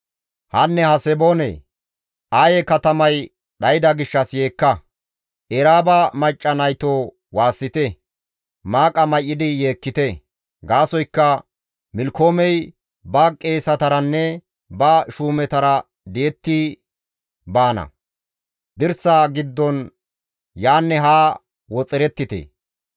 Hanne Haseboone! Aye katamay dhayda gishshas yeekka; Eraaba macca naytoo waassite; maaqa may7idi yeekkite; gaasoykka Milkkoomey ba qeesetaranne ba shuumetara di7ettidi baana; dirsa giddon yaanne haa woxerettite.